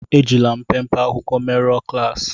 É jilà mpémpé akwụkwọ merụ̀ọ klaasi